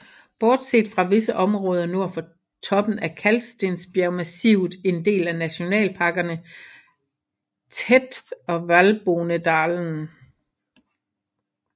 Bortset fra visse områder nord for toppen er kalkstensbjergmassivet en del af Nationalparkerne Theth og Valbonëdalen